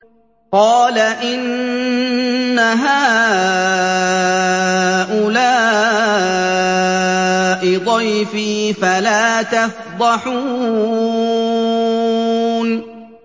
قَالَ إِنَّ هَٰؤُلَاءِ ضَيْفِي فَلَا تَفْضَحُونِ